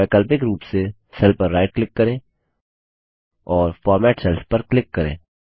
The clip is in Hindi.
वैकल्पिक रूप से सेल पर राइट क्लिक करें और फॉर्मेट सेल्स पर क्लिक करें